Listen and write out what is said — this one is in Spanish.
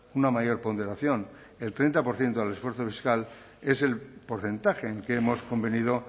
una mayor ponderación el treinta por ciento del esfuerzo fiscal es el porcentaje en que hemos convenido